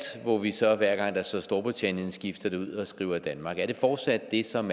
hvor vi så hver gang der står storbritannien skifter det ud og skriver danmark er det fortsat det som